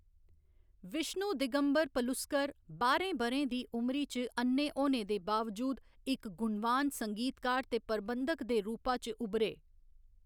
विष्णु दिगंबर पलुस्कर बाह्‌रें ब'रें दी उमरी च अ'न्ने होने दे बावजूद इक गुणवान संगीतकार ते प्रबंधक दे रूपा च उब्भरे।